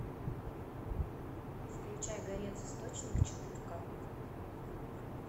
включай горец источник четыр ка